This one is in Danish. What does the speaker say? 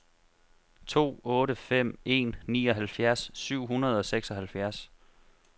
to otte fem en nioghalvfjerds syv hundrede og seksoghalvfjerds